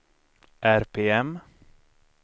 RPM